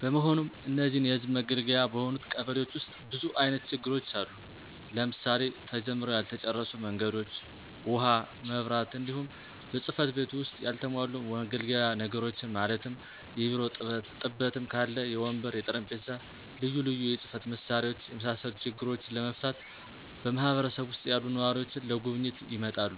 በመሆኑም እነዚህን የህዝብ መገልገያ በሆኑት ቀበሌዎች ዉስጥ ብዙ አይነት ችግሮች አሉ; ለምሳሌ፦ ተጀምረዉ ያልተጨረሱ መንገዶች፣ ዉሀ፣ መብራት፣ እንዲሁም በፅ/ቤቱ ዉስጥ ያልተሟሉ መገልገያ ነገሮችን ማለትም; የቢሮ ጥበትም ካለ, የወንበር፣ የጠረምጴዛ፣ ልዩ ልዩ የፅ/መሳሪያዎች የመሳሰሉ ችግሮችን ለመፍታት በማህበረሰብ ዉሰጥ ያሉ ነዋሪዎች ለጉብኝት ይመጣሉ።